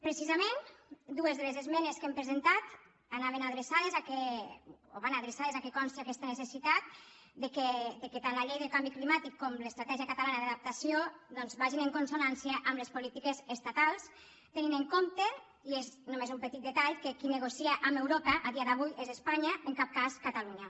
precisament dues de les esmenes que hem presentat van adreçades al fet que consti aquesta necessitat que tant la llei del canvi climàtic com l’estratègia catalana d’adaptació doncs vagin en consonància amb les polítiques estatals tenint en compte i és només un petit detall que qui negocia amb europa a dia d’avui és espanya en cap cas catalunya